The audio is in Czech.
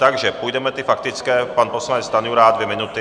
Takže půjdeme ty faktické, pan poslanec Stanjura, dvě minuty.